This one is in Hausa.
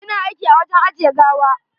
Ina aiki a wajen ajiye gawa.